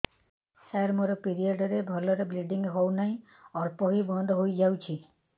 ସାର ମୋର ପିରିଅଡ଼ ରେ ଭଲରେ ବ୍ଲିଡ଼ିଙ୍ଗ ହଉନାହିଁ ଅଳ୍ପ ହୋଇ ବନ୍ଦ ହୋଇଯାଉଛି